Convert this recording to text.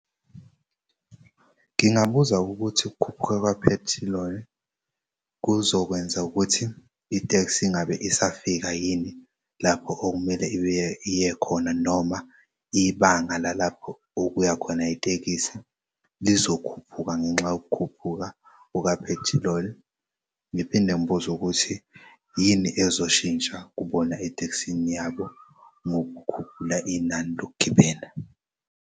Ngingabuza ukuthi ukukhuphuka kwaphethiloli kuzokwenza ukuthi iteksi ingabe isafika yini lapho okumele iye khona noma ibanga lalapho okuya khona itekisi lizokhuphuka ngenxa yokukhuphuka kukaphethiloli. Ngiphinde ngibuze ukuthi yini ezoshintsha kubona etekisini yabo ngokukhuphula inani lokugibela?